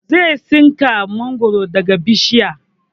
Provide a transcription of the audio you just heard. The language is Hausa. Zai tsinka mangoro daga bishiya